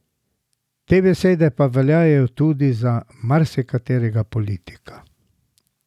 Te besede pa veljajo tudi za marsikaterega politika.